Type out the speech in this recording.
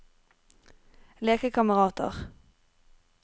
lekekamerater